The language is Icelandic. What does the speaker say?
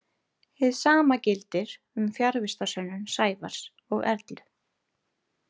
Hið sama gildir um fjarvistarsönnun Sævars og Erlu.